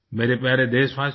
मेरे प्यारे देशवासियो